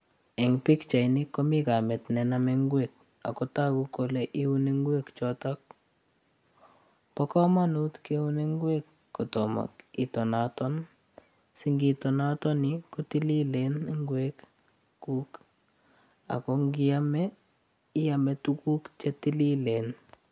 Eng' pichaitni komi kamit nename ngwek akotoku kole iuni ngwek chootok pa komonut keun ngwek kotomo itonaton singitonatoni kotililen ngwek kuk ak kongiame iame tuguk chetililen